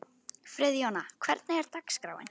Friðjóna, hvernig er dagskráin?